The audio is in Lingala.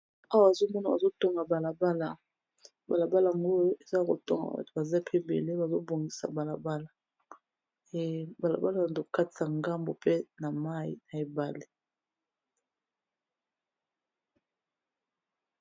Awa nazo mona bazo tonga balabala . Balabala yango batu bazo tonga baza pe ébélé bazo bongisa balabala, balabala na to katisa na ngambo pe na mai na ebale .